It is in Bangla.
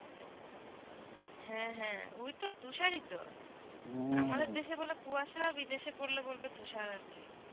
হেঁ হেঁ ওই তো তুষার ই তো আমাদের দেশে বলে কুয়াসা বিদেশে পড়লে বলবে তুষার আর কি